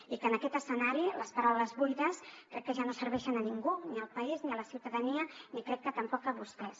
i que en aquest escenari les paraules buides crec que ja no serveixen a ningú ni al país ni a la ciutadania ni crec que tampoc a vostès